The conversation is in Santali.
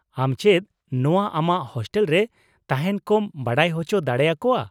ᱟᱢ ᱪᱮᱫ ᱱᱚᱶᱟ ᱟᱢᱟᱜ ᱦᱳᱥᱴᱮᱞ ᱨᱮ ᱛᱟᱦᱮᱱ ᱠᱚᱢ ᱵᱟᱰᱟᱭ ᱚᱪᱚ ᱫᱟᱲᱮᱭᱟᱠᱚᱣᱟᱼᱟ ?